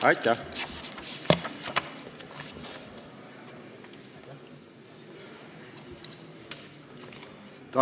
Aitäh!